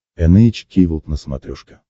эн эйч кей волд на смотрешке